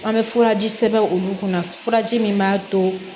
An bɛ furaji sɛbɛn olu kunna furaji min b'a to